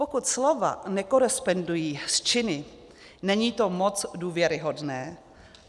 Pokud slova nekorespondují s činy, není to moc důvěryhodné.